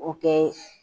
O kɛ